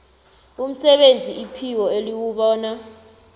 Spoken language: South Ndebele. umsebenzi iphiko eliwubona